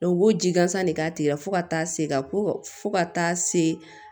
u b'o ji gansan de k'a tigi la fo ka taa se ka fo ka taa se